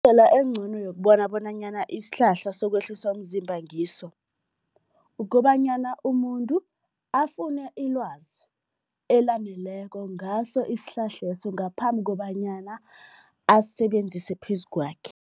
Indlela engcono yokubona bonanyana isihlahla sokwehlisa umzimba ngiso, ukobanyana umuntu afune ilwazi elaneleko ngaso isihlahleso ngaphambi kobanyana asisebenzise phezu kwakhe.